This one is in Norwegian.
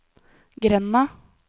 grenda